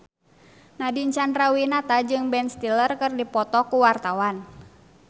Nadine Chandrawinata jeung Ben Stiller keur dipoto ku wartawan